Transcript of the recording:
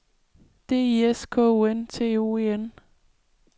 D I S K O N T O E N